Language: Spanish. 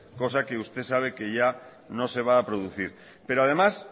cosa que usted sabe que ya no se va a producir pero además